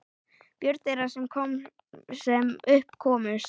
Börn þeirra, sem upp komust